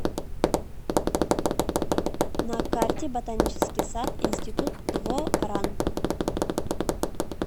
на карте ботанический сад институт дво ран